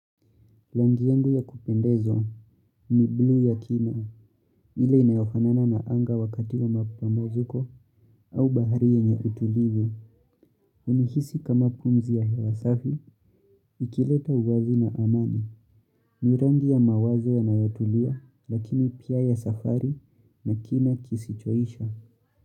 Rangi yangu ya kupendezo, ni blue ya kina, ile inayofanana na anga wakati wa mapumziko, au bahari yenye utulivu, uhisi kama pumzi ya hewa safi, ikileta uwazi na amani, ni rangi ya mawazo yanayotulia, lakini pia ya safari, na kina kisichoisha.